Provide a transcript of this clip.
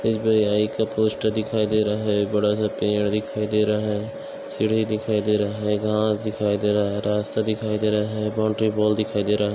SBI का poster दिखाई दे रहा है बड़ा सा पेड़ दिखाई दे रहा है सीढ़ी दिखाई दे रहा है घांस दिखाई दे रहा है रास्ता दिखाई दे रहा हैबाउंड्री वॉल दिखाई दे रहा है।